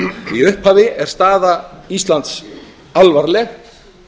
í upphafi er staða íslands alvarleg